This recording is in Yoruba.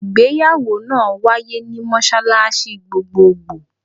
Ìgbéyàwó máa wáyé ní mọ́ṣáláṣí gbogbogbò.